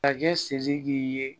Masakɛ sidiki ye